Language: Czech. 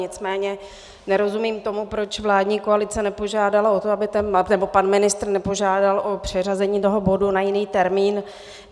Nicméně nerozumím tomu, proč vládní koalice nepožádala o to, nebo pan ministr nepožádal o přeřazení toho bodu na jiný termín.